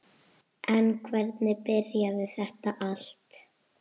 En hvernig byrjaði þetta allt?